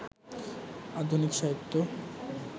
আধুনিক সাহিত্য